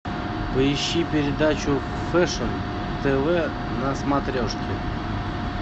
поищи передачу фэшн тв на смотрешке